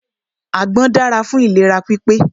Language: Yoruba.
Àgbọn dára fún ìlera pípé.